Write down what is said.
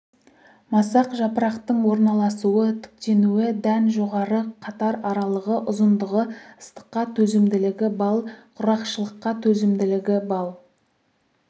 масақ жапырақтың орналасуы түктенуі дән жоғары қатар аралығы ұзындығы ыстыққа төзімділігі балл құрғақшылыққа төзімділігі балл